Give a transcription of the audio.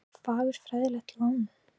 Það er fagurfræðilegt lán.